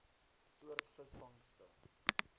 soort visvangste